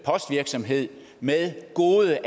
virksomhed med gode